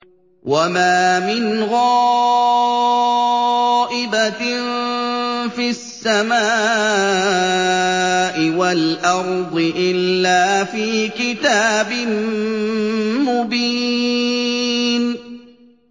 وَمَا مِنْ غَائِبَةٍ فِي السَّمَاءِ وَالْأَرْضِ إِلَّا فِي كِتَابٍ مُّبِينٍ